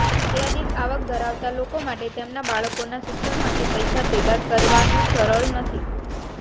મર્યાદિત આવક ધરાવતા લોકો માટે તેમના બાળકોના શિક્ષણ માટે પૈસા ભેગા કરવાનું સરળ નથી